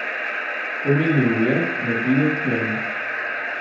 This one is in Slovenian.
Pomignil mi je, naj pridem k njemu.